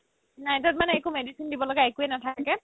night ত মানে একো medicine দিব লগিয়া একোৱে নাথাকে